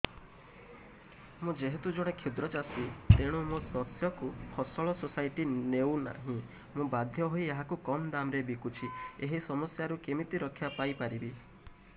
ମୁଁ ଯେହେତୁ ଜଣେ କ୍ଷୁଦ୍ର ଚାଷୀ ତେଣୁ ମୋ ଶସ୍ୟକୁ ଫସଲ ସୋସାଇଟି ନେଉ ନାହିଁ ମୁ ବାଧ୍ୟ ହୋଇ ଏହାକୁ କମ୍ ଦାମ୍ ରେ ବିକୁଛି ଏହି ସମସ୍ୟାରୁ କେମିତି ରକ୍ଷାପାଇ ପାରିବି